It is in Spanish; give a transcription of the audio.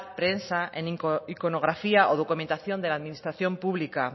prensa en iconografía o documentación de la administración pública